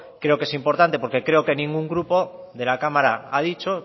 creo es importante porque creo que ningún grupo de la cámara ha dicho